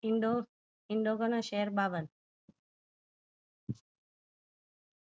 Endo endogona share બાવન